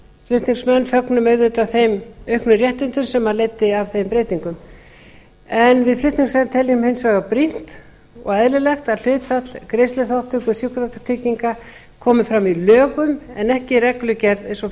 flutningsmenn fögnum auðvitað þeim auknu réttindum sem leiddi af þeim breytingum við flutningsmenn teljum hins vegar brýnt og eðlilegt að hlutfall greiðsluþátttöku sjúkratrygginga komi fram í lögum en ekki í reglugerð eins og